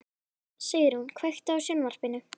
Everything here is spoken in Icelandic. Sigrún, kveiktu á sjónvarpinu.